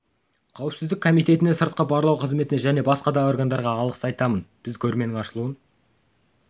қауіпсіздік комитетіне сыртқы барлау қызметіне және басқа да органдарға алғыс айтамын біз көрменің ашылуын